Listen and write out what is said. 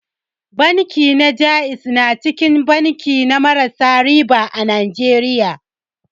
Banki na ja'iz na cikin banki na marasa riba a Najeriya.